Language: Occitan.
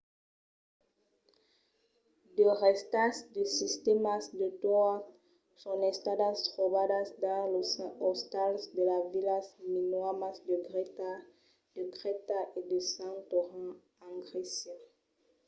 de rèstas de sistèmas de toat son estadas trobadas dins los ostals de las vilas minoanas de crèta e de santorin en grècia